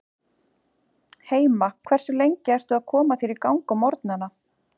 heima Hversu lengi ertu að koma þér í gang á morgnanna?